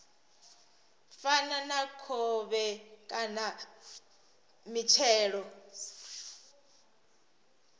fana na khovhe kana mitshelo